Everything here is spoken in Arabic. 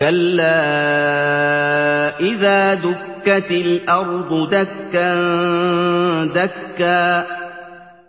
كَلَّا إِذَا دُكَّتِ الْأَرْضُ دَكًّا دَكًّا